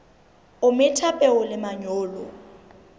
o metha peo le manyolo